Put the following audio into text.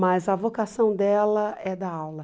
Mas a vocação dela é dar aula.